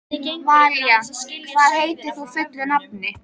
Valíant, hvað heitir þú fullu nafni?